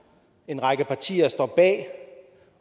en række partier står bag